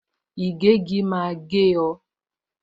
Ìgégi máa gé o